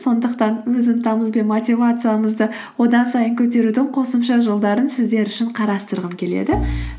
сондықтан өз ынтамыз бен мотивациямызды одан сайын көтерудің қосымша жолдарын сіздер үшін қарастырғым келеді